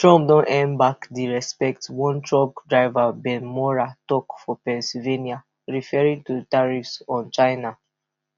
trump don earn back di respect one truck driver ben maurer tok for pennsylvania referring to tariffs on china